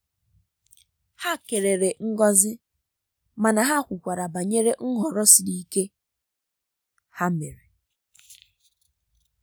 ha kelere ngọzi mana ha kwukwara banyere nhọrọ siri ike ha mere.